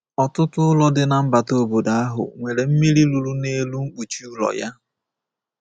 Ọtụtụ ụlọ dị na mbata obodo ahụ nwere mmiri ruru n’elu mkpuchi ụlọ ya.